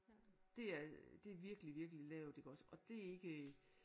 Det er det er virkelig virkelig lavt iggås og det er ikke